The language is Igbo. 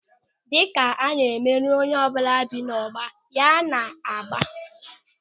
Dịka na-emeri onyeọbụla bi n'ógbè ya na mgba.